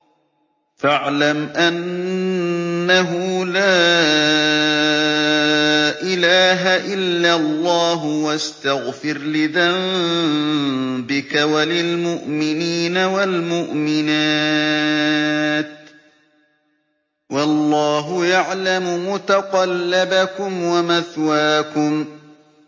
فَاعْلَمْ أَنَّهُ لَا إِلَٰهَ إِلَّا اللَّهُ وَاسْتَغْفِرْ لِذَنبِكَ وَلِلْمُؤْمِنِينَ وَالْمُؤْمِنَاتِ ۗ وَاللَّهُ يَعْلَمُ مُتَقَلَّبَكُمْ وَمَثْوَاكُمْ